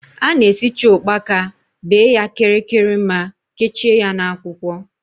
A na-esicha ụkpaka, bee ya kịrịkịrịma kechie ya na akwụkwọ